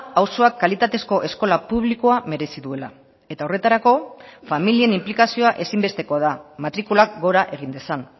auzoak kalitatezko eskola publikoa merezi duela eta horretarako familien inplikazioa ezinbestekoa da matrikulak gora egin dezan